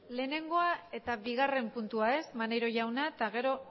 lehenengo eta bigarren puntua ezta maneiro jauna eta gero